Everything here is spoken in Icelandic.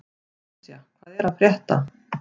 Esja, hvað er að frétta?